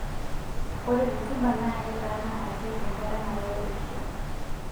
Ore rutuba naa ketaana ake enkaata nayieu irkiek.